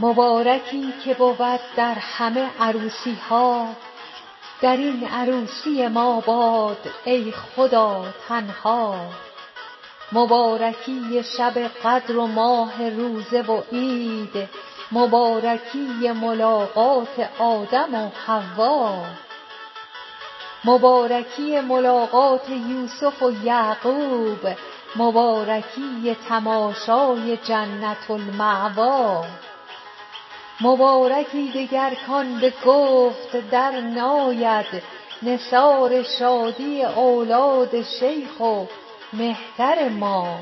مبارکی که بود در همه عروسی ها در این عروسی ما باد ای خدا تنها مبارکی شب قدر و ماه روزه و عید مبارکی ملاقات آدم و حوا مبارکی ملاقات یوسف و یعقوب مبارکی تماشای جنة المأوی مبارکی دگر کان به گفت درناید نثار شادی اولاد شیخ و مهتر ما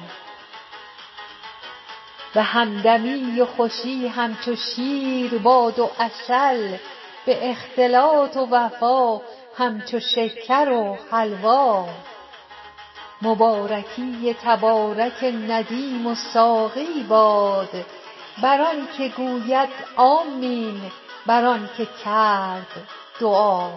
به همدمی و خوشی همچو شیر باد و عسل به اختلاط و وفا همچو شکر و حلوا مبارکی تبارک ندیم و ساقی باد بر آنک گوید آمین بر آنک کرد دعا